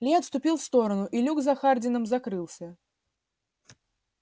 ли отступил в сторону и люк за хардином закрылся